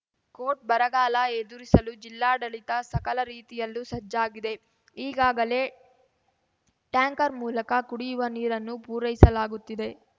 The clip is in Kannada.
ಕೋಟ್‌ ಬರಗಾಲ ಎದುರಿಸಲು ಜಿಲ್ಲಾಡಳಿತ ಸಕಲ ರೀತಿಯಲ್ಲೂ ಸಜ್ಜಾಗಿದೆ ಈಗಾಗಲೇ ಟ್ಯಾಂಕರ್‌ ಮೂಲಕ ಕುಡಿಯುವ ನೀರನ್ನು ಪೂರೈಸಲಾಗುತ್ತಿದೆ